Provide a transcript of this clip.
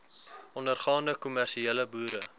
ondergaande kommersiële boere